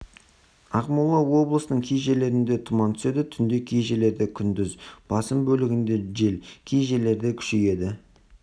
ақмола облысының кей жерлерінде тұман түседі түнде кей жерлерде күндіз басым бөлігінде жел кей жерлерде күшейеді